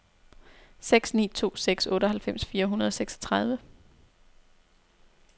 seks ni to seks otteoghalvfems fire hundrede og seksogtredive